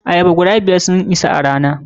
Ayaba guda biyar sun isa a rana.